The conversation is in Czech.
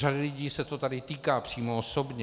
Řady lidí se to tady týká přímo osobně.